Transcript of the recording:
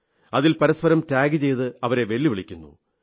അതിൽ പരസ്പരം ടാഗ് ചെയ്ത് അവരെ വെല്ലുവിളിക്കുന്നു